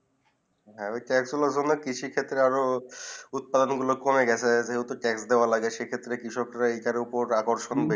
হেঁ অতটা আসলে হলো কৃষি ক্ষেত্রে আরও উৎপাদন গুলু কমে গেছে ক্ষত্রে বেলা এই সব উপর রাখো সম্ভব